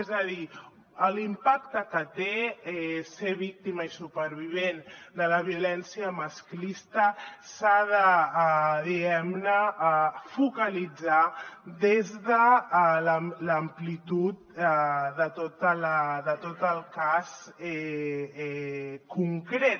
és a dir l’impacte que té ser víctima i supervivent de la violència masclista s’ha de diguem ne focalitzar des de l’amplitud de tot el cas concret